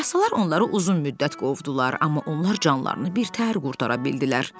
Yarasalar onları uzun müddət qovdular, amma onlar canlarını birtəhər qurtara bildilər.